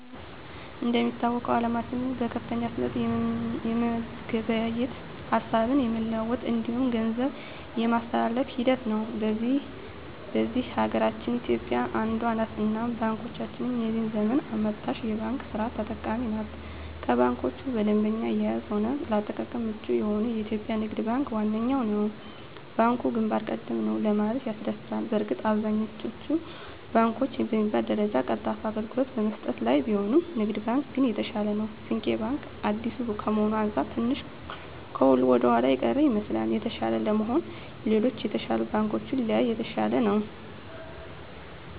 እንደሚታወቀዉ አለማችን በከፍተኛ ፍጥነት የመገበያየት፣ ሀሳብ የመለዋወጥ እንዲሁም ገንዘብ የማስተላፍ ሂደት ላይ ነዉ። በዚህ ሀገራችን ኢትዮጵያ አንዷ ነት እናም ባንኮቻችንም የዚህ ዘመን አመጣሽ የባንክ ስርት ተጠቃሚ ናት ከባንኮች በደንበኛ አያያዝም ሆነ ለአጠቃቀም ምቹ የሆነዉ የኢትዮጵያ ንግድ ባንክ ዋነኛዉ ነዉ። ባንኩ ግንባር ቀደም ነዉ ለማለትም ያስደፍራል በእርግጥ አብዛኛወቹ ባንኮች በሚባል ደረጃ ቀልጣፋ አገልግሎት በመስጠት ላይ ቢሆኑም ንግድ ባንክ ግን የተሻለ ነዉ። ስንቄ ባንክ አዲስ ከመሆኑ አንፃር ትንሽ ከሁሉ ወደኋላ የቀረ ይመስላል። የተሻለ ለመሆን ሌሎች የተሻሉ ባንኮችን ቢያይ የተሻለ ነዉ።